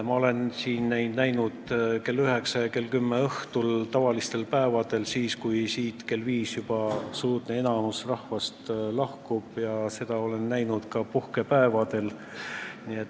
Ma olen neid siin majas näinud kell üheksa ja kell kümme õhtul argipäevadel, kui siit kell viis juba enamik rahvast lahkub, ja olen seda näinud ka puhkepäevadel.